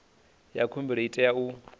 ya khumbelo i tea u